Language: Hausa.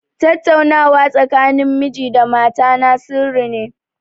Tattaunawa tsakanin miji da mata na sirri ne.